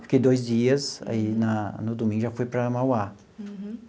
Fiquei dois dias, aí na no domingo já fui para Mauá. Uhum.